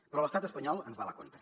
però l’estat espanyol ens va a la contra